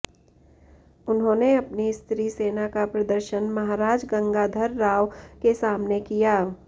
उन्होंने अपनी स्त्री सेना का प्रदर्शन महाराज गंगाधरराव के सामने किया